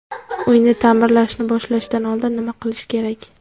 Uyni ta’mirlashni boshlashdan oldin nima qilish kerak?.